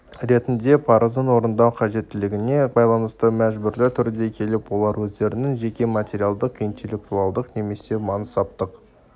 ретінде парызын орындау қажеттілігіне байланысты мәжбүрлі түрде келіп олар өздерінің жеке материалдық интеллектуалдық немесе мансаптық